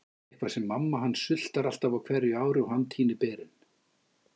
Eitthvað með að mamma hans sultar alltaf á hverju ári og hann tínir berin.